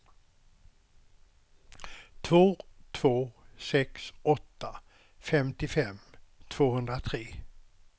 två två sex åtta femtiofem tvåhundratre